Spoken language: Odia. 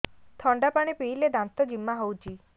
ଥଣ୍ଡା ପାଣି ପିଇଲେ ଦାନ୍ତ ଜିମା ହଉଚି